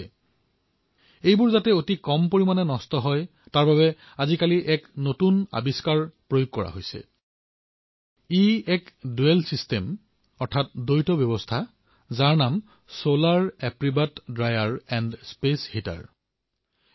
ফলসমূহ কমকৈ ক্ষতিগ্ৰস্ত হওক তাৰবাবে আজিকালি এক নতুন উদ্ভাৱনৰ আৰম্ভ হৈছেএক দ্বৈত ব্যৱস্থা যাৰ নাম হল চলাৰ এপ্ৰিকত ড্ৰায়াৰ এণ্ড স্পেচ heater